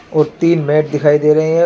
और तीन मेट दिखाई दे रहे हैं.